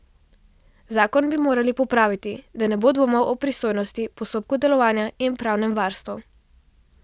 Zakon bi morali popraviti, da ne bo dvomov o pristojnosti, postopku delovanja in pravnemu varstvu.